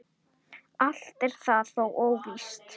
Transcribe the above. Allt er það þó óvíst.